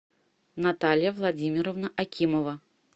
наталья владимировна акимова